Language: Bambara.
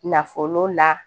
Nafolo la